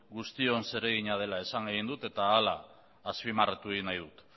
guztion zeregina dela esan egin dut eta horrela azpimarratu egin nahi dut